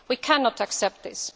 We cannot accept this.